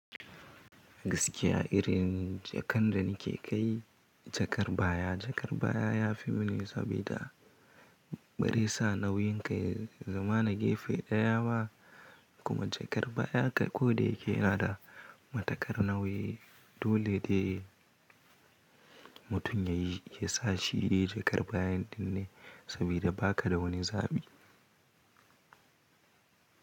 Gaskiya irin jakan da nake kai jakar baya. Jakar baya yafi muni sabida bare sa nauyin kai. Zamana gefe daya ba kuma jakar baya kai ko da yake nada matakar nauyi. Dole de mutum yayi, yasa shi yi jakar baya din ne sabida baka da wani zabi.